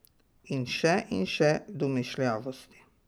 In še in še domišljavosti.